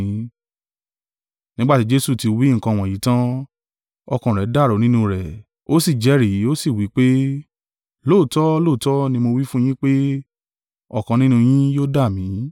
Nígbà tí Jesu ti wí nǹkan wọ̀nyí tán, ọkàn rẹ̀ dàrú nínú rẹ̀, ó sì jẹ́rìí, ó sì wí pé, “Lóòótọ́ lóòótọ́ ni mo wí fún un yín pé, ọ̀kan nínú yín yóò dà mí.”